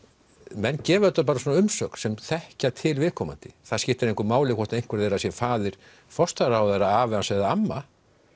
menn gefa auðvitað bara svona umsögn sem þekkja til viðkomandi það skiptir engu máli hvort einhver þeirra sé faðir forsætisráðherra afi hans eða amma